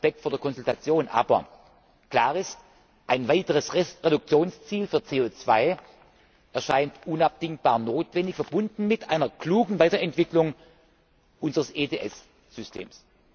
Wir haben Respekt vor der Konsultation, aber klar ist Ein weiteres Reduktionsziel für CO 2 erscheint unabdingbar notwendig, verbunden mit einer klugen Weiterentwicklung unseres ETS Systems.